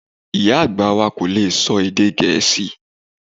Ìyá àgbà wa kò lè sọ èdè Gẹ̀ẹ́sì